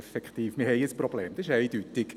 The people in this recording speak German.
Wir haben ein Problem, das ist eindeutig.